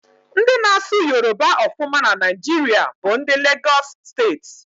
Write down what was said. Ndị na-asụ Yoroba ọfụma na Naijiria bụ ndị Legosị Steeti.